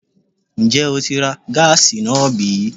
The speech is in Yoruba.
Ǹjẹ́ o tí ń ra gáàsì náà bí?